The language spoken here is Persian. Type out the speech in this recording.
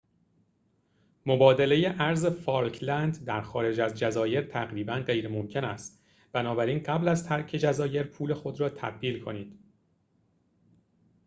مبادله ارز فالکلند در خارج از جزایر تقریبا غیرممکن است بنابراین قبل از ترک جزایر پول خود را تبدیل کنید